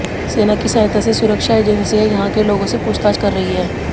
सेना की सहायता से सुरक्षा एजेंसियां यहां के लोगों से पूछताछ कर रही हैं